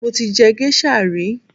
Mo ti jẹ géṣà rí